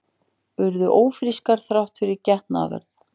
Urðu ófrískar þrátt fyrir getnaðarvörn